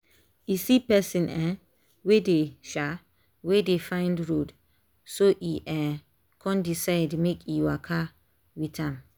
e see person um wey dey um wey dey find road so e um con decide make e waka go with am.